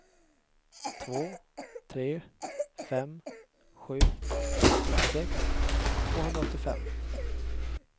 två tre fem sju nittiosex tvåhundraåttiofem